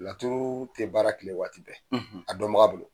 Laturu tɛ baara tile waati bɛɛ a dɔn baga bolo.